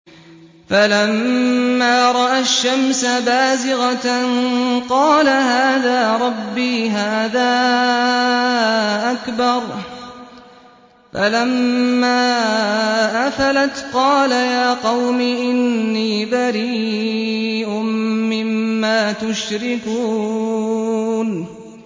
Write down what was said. فَلَمَّا رَأَى الشَّمْسَ بَازِغَةً قَالَ هَٰذَا رَبِّي هَٰذَا أَكْبَرُ ۖ فَلَمَّا أَفَلَتْ قَالَ يَا قَوْمِ إِنِّي بَرِيءٌ مِّمَّا تُشْرِكُونَ